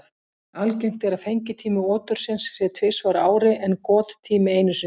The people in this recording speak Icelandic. Algengt er að fengitími otursins sé tvisvar á ári en gottími einu sinni.